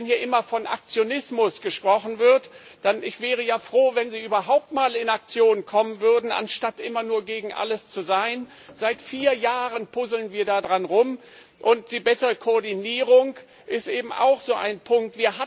Wenn hier immer von Aktionismus gesprochen wird ich wäre ja froh, wenn Sie überhaupt mal in Aktion kommen würden, anstatt immer nur gegen alles zu sein seit vier Jahren puzzeln wir daran herum und die bessere Koordinierung ist eben auch so ein Punkt.